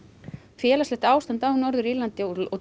félagslegt ástand á Norður Írlandi og